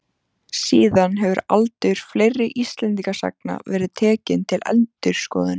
Síðan hefur aldur fleiri Íslendingasagna verið tekinn til endurskoðunar.